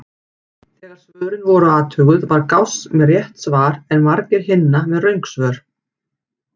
Þegar svörin voru athuguð var Gauss með rétt svar en margir hinna með röng svör.